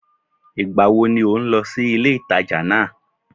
Ìgbàwo ni ò ń lọ sí ilé-ìtàjà náà